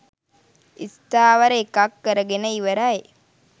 ස්ථාවර එකක් කරගෙන ඉවරයි.